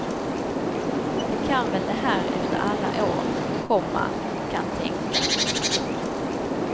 De kan väl det här efter alla år, komma kan tänka. punkt